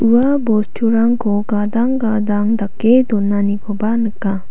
ua bosturangko gadang gadang dake donanikoba nika.